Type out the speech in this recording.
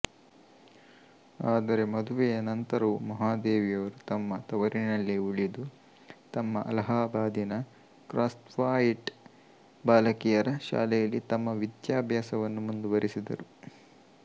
ಆದರೆ ಮದುವೆಯ ನಂತರವೂ ಮಹಾದೇವಿಯವರು ತಮ್ಮ ತವರಿನಲ್ಲಿಯೇ ಉಳಿದು ತಮ್ಮ ಅಲಹಾಬಾದಿನ ಕ್ರಾಸ್ತ್ವಾಯಿಟ್ ಬಾಲಕಿಯರ ಶಾಲೆಯಲ್ಲಿ ತಮ್ಮ ವಿದ್ಯಾಭಾಸವನ್ನು ಮುಂದುವರಿಸಿದರು